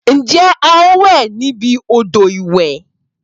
Ǹjẹ́ a o wẹ níbi odò ìwẹ̀?